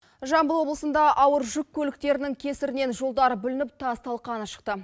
жамбыл облысында ауыр жүк көліктерінің кесірінен жолдар бүлініп тас талқаны шықты